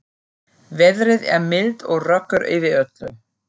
Veðrið er milt og rökkur yfir öllu.